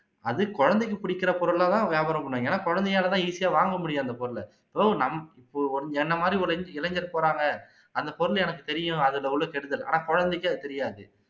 அது குழந்தைக்கு புடிக்குற பொருளா தான் வியாபாரம் பண்ணுவாங்க ஏன்னா குழந்தையால தான் easy ஆ வாங்க முடியும் அந்த பொருளை எதோ நம் ஒ என்னை மாதிரி ஒரு இளை இளைஞர் போறாங்க அந்த பொருள் எனக்கு தெரியும் அதுல உள்ள கெடுதல் ஆனா குழந்தைக்கு அது தெரியாது